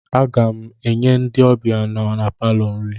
Aga m enye ndị ọbịa nọ na palọ nri